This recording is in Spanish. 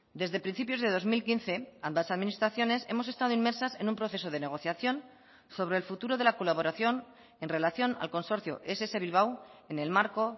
desde principios de dos mil quince ambas administraciones hemos estado inmersas en un proceso de negociación sobre el futuro de la colaboración en relación al consorcio ess bilbao en el marco